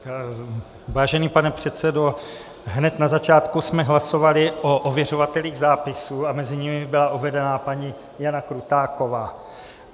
Vážený pane předsedo, hned na začátku jsme hlasovali o ověřovatelích zápisu a mezi nimi byla uvedena paní Jana Krutáková.